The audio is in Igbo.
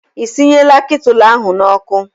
Ị sinyela ketụlụ ahụ n'ọkụ?